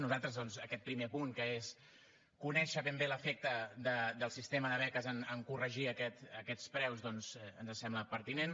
nosaltres doncs aquest primer punt que és conèixer ben bé l’efecte del sistema de beques en corregir aquests preus ens sembla pertinent